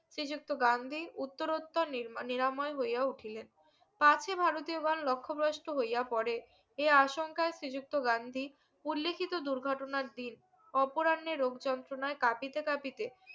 শ্রীযুক্ত গান্ধী উত্তরত্তর নিরমান নিরাময় হইয়া উঠিলেন কাছি ভারতীয় লক্ষ্যভ্রষ্ট হইয়া পরে এই আশঙ্কায় শ্রী যুক্ত গান্ধী উল্লেখির দুর্ঘটনার দিন অপোরান্নের রোগ যন্ত্রনায় কাপিতে কাপিতে